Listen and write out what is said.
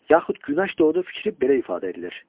Yaxud Günəş doğdu fikri belə ifadə edilir: